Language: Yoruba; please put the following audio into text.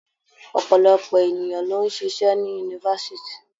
Ọ̀pọ̀lọpọ̀ ènìyàn ló ń ṣịṣẹ́ ní Yunifásitì.